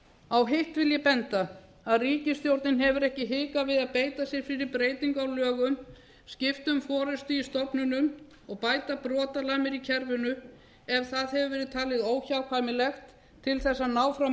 á hitt vil ég benda að ríkisstjórnin hefur ekki hikað við að beita sér fyrir breytingu á lögum skipt um forustu í stofnunum og bæta brotalamir í kerfinu ef það hefur verið talið óhjákvæmilegt til að ná fram